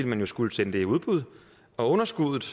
man jo skulle sende det i udbud og underskuddet